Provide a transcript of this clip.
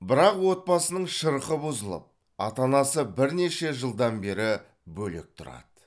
бірақ отбасының шырқы бұзылып ата анасы бірнеше жылдан бері бөлек тұрады